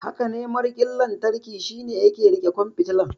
Hakane, mariƙin lantarki shine yake riƙe ƙwan fitilar.